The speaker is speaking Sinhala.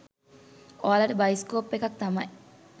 ඔයාලට බයිස්කෝප් එකක් තමයි